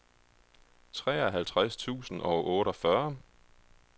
treoghalvtreds tusind og otteogfyrre